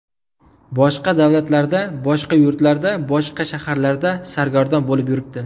Boshqa davlatlarda, boshqa yurtlarda, boshqa shaharlarda sargardon bo‘lib yuribdi.